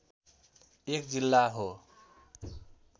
एक जिल्ला हो